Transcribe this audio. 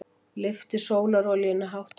Lyfti sólarolíunni hátt á loft.